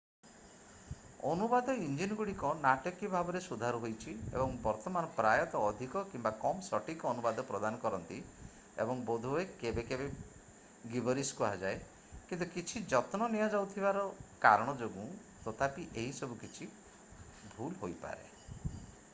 ଅନୁବାଦ ଇଞ୍ଜିନ୍ ଗୁଡ଼ିକ ନାଟକୀୟ ଭାବରେ ସୁଧାର ହୋଇଛି ଏବଂ ବର୍ତ୍ତମାନ ପ୍ରାୟତଃ ଅଧିକ କିମ୍ବା କମ୍ ସଠିକ୍ ଅନୁବାଦ ପ୍ରଦାନ କରନ୍ତି ଏବଂ ବୋଧ ହୁଏ କେବେ କେବେ ଗିବରିଶ କୁହାଯାଏ କିନ୍ତୁ କିଛି ଯତ୍ନ ନିଆଯାଉଥିବାର କାରଣ ଯୋଗୁଁ ତଥାପି ଏହି ସବୁ କିଛି ଭୁଲ ହୋଇପାରେ।